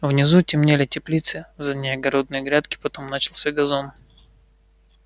внизу темнели теплицы за ней огородные грядки потом начался газон